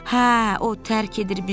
Hə, o tərk edir bizi.